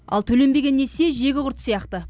ал төленбеген несие жегі құрт сияқты